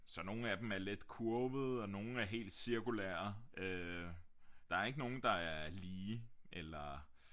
Så nogle af dem er lidt kurvede og nogle er helt cirkulære øh der er ikke nogen der er lige eller